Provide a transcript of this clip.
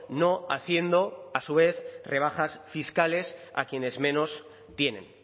no haciendo a su vez rebajas fiscales a quienes menos tienen